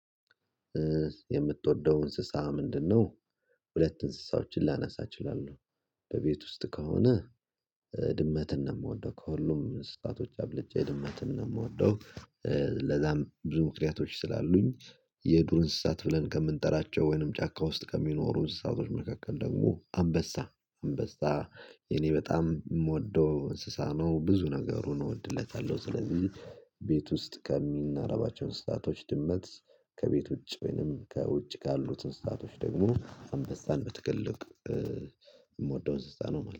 የምትወደው እንስሳ ምንድነው? ሁለት እንስሳዎችን ላነሳ እችላለሁ። በቤት ውስጥ ከሆነ ድመትን ነው ምወደው ከሁሉም እንስሳቶች አብልጬ ድመትን ነው ምወደው። ለዛም ብዙ ምክንያቶች ስላሉኝ። የዱር እንስሳት ብለን ከምንጠራቸው ወይንም ጫካ ውስጥ ከሚኖሩ እንስሳቶች መካከል ደግሞ አንበሳ አንበሳ የኔ በጣም ምወደው እንስሳ ነው ብዙ ነገሩን እወድለታለሁ ስለዚህ። ቤት ውስጥ ከሚናረባቸው እንስሳቶች ድመት። ከቤት ውጭ ወይንም ከውጪ ካሉት እንስሳቶች ደግሞ አንበሳን በትልልቅ እምወደው እንስሳ ነው ማለት